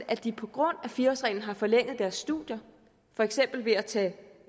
at de på grund af fire årsreglen har forlænget deres studier for eksempel ved at tage